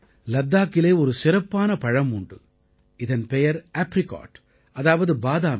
லத்தாக்கிலே ஒரு சிறப்பான பலம் உண்டு இதன் பெயர் ஆப்ரிகாட் அதாவது பாதாமி